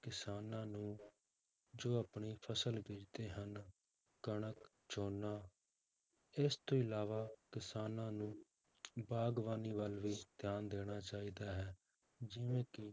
ਕਿਸਾਨਾਂ ਨੂੰ ਜੋ ਆਪਣੀ ਫਸਲ ਬੀਜ਼ਦੇ ਹਨ, ਕਣਕ, ਝੋਨਾ ਇਸ ਤੋਂ ਇਲਾਵਾ ਕਿਸਾਨਾਂ ਨੂੰ ਬਾਗ਼ਬਾਨੀ ਵੱਲ ਵੀ ਧਿਆਨ ਦੇਣਾ ਚਾਹੀਦਾ ਹੈ ਜਿਵੇਂ ਕਿ